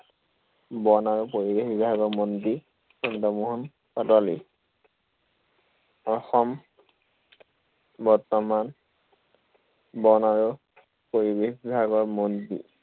বন আৰু পৰিৱেশ বিভাগৰ মন্ত্ৰী চন্দ্ৰমোহন পাটোৱাৰী। অসম বৰ্তমান বন আৰু পৰিৱেশ বিভাগৰ মন্ত্ৰী।